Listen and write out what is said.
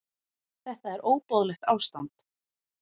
Þetta er óboðlegt ástand.